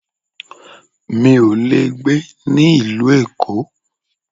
Mi ò le gbé ní ìlú Èkó.